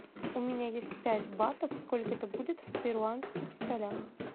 у меня есть пять батов сколько это будет в перуанских солях